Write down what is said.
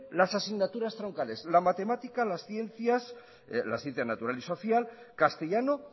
las asignaturas troncales las matemáticas las ciencias la ciencia natural y social castellano